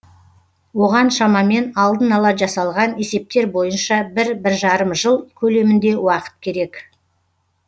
оған шамамен алдын ала жасалған есептер бойынша бір бір жарым жыл көлемінде уақыт керек